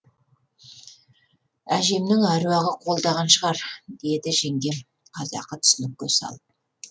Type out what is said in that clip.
әжемнің әруағы қолдаған шығар деді жеңгем қазақы түсінікке салып